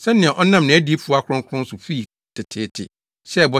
sɛnea ɔnam nʼadiyifo akronkron so fii teteete hyɛɛ bɔ